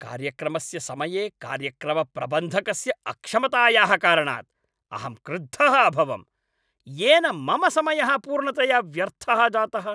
कार्यक्रमस्य समये कार्यक्रमप्रबन्धकस्य अक्षमतायाः कारणात् अहं क्रुद्धः अभवम् येन मम समयः पूर्णतया व्यर्थः जातः।